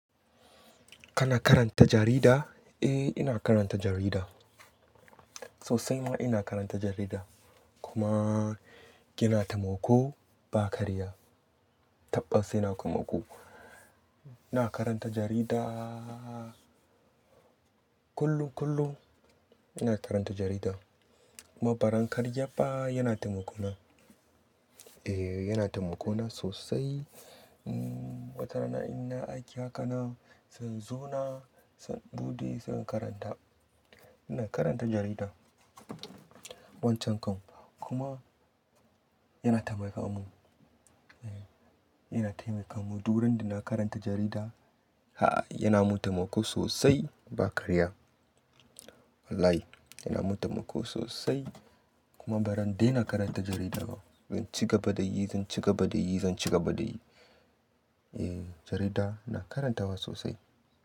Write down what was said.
Kana karanta jarida? Eh, ina karanta jarida. Sosai ma ina karanta jarida. Kuma kina taimako ba karya. Tabbas yana taimako. Ina karanta jaridaa kullum, kullum. Ina karanta jarida kuma baran karyabba yana taimako na. Eh, yana taimako na sosai. Watarana ina yi aiki hakanan, zan zauna, zan buɗe zan karanta. Ina karanta jarida wancan kan kuma yana taimaka mun. Eh, yana taimaka mun. Duk randa na karanta jarida, ha, yana mun taimako sosai ba karya. Wallahi yana mun taimako sosai kuma barin daina karanta jarida ba. Zan ci gaba da yi, zan ci gaba da yi, zan ci gaba da yi. Eh, jarida ina karantawa sosai.